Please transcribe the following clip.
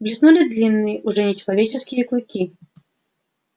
блеснули длинные уже нечеловеческие клыки